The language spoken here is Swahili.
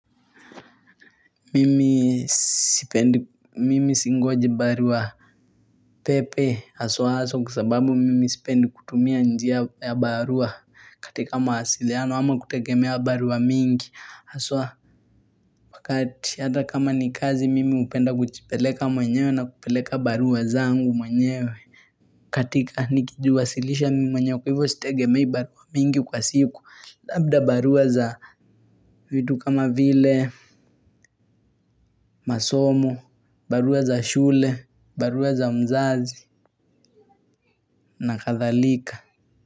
Mimi sipendi mimi singoji barua pepe aswa aswa kwasababu mimi sipendi kutumia njia ya barua. Katika mawasiliano ama kutegemea barua mingi aswa wakati ata kama ni kazi mimi hupenda kujipeleka mwenyewe na kupeleka barua zangu mwenyewe. Katika nikijiwasilisha mi mwenyewe kwa hivo sitegemei barua mingi kwa siku. Labda barua za vitu kama vile, masomo, barua za shule, barua za mzazi, na kathalika.